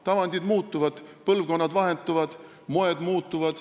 Tavandid muutuvad, põlvkonnad vahetuvad ja mood muutub.